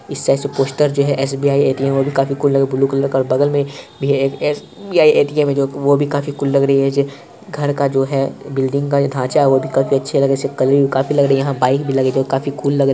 इस साइड से पोस्टर जो है एस_बी_आई ए_टी_एम वो भी कुल लग रहे है ब्लू कलर का बगल में भी एक एस_बी_आई ए_टी_एम है वो भी काफी कुल लग रही है घर का जो है बिल्डिंग का जो ढांचा है वह भी काफी अच्छा लग रही है इसका कलर भी काफी लग रही यहां बाइक भी लगे है जो काफी कुल लग रहे है।